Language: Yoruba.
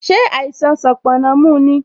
Ṣé àìsàn sanponna mu ni?